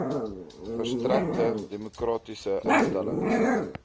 versterkte demokratiese instellings